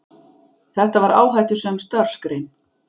Þetta var áhættusöm starfsgrein.